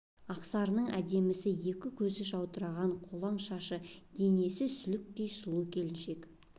ақсарының әдемісі екі көзі жаудыраған қолаң шашты денесі сүліктей сұлу келіншек